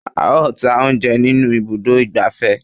A ó ta oúnjẹ nínú ibùdó ìgbafẹ́.